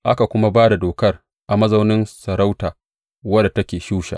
Aka kuma ba da dokar a mazaunin masarauta wadda take Shusha.